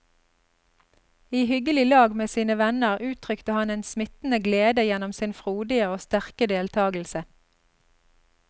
I hyggelig lag med sine venner uttrykte han en smittende glede gjennom sin frodige og sterke deltagelse.